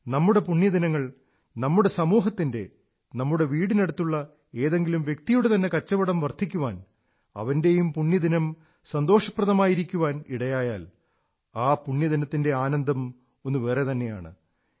നമ്മുടെ പുണ്യദിനങ്ങൾ നമ്മുടെ സമൂഹത്തിന്റെ നമ്മുടെ വീടിനടുത്തുള്ള ഏതെങ്കിലും വ്യക്തിയുടെ തന്നെ കച്ചവടം വർധിക്കാൻ അവന്റെയും പുണ്യദിനം സന്തോഷപ്രദമായിരിക്കാൻ ഇടയായാൽ ആ പുണ്യദിനത്തിന്റെ ആനന്ദം ഒന്നു വേറെ തന്നെയാണ്